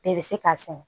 Bɛɛ bɛ se k'a sɛnɛ